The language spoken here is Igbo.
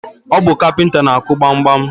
Ọ bu kapinta na-akụ gbamgbam